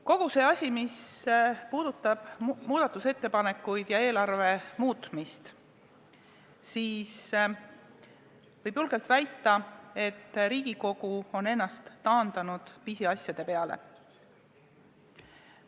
Kõik see, mis puudutab muudatusettepanekuid ja eelarve muutmist – võib julgelt väita, et Riigikogu on taandanud ennast pisiasjadega tegelejaks.